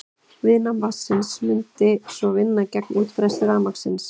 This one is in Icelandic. Viðnám vatnsins mundi svo vinna gegn útbreiðslu rafmagnsins.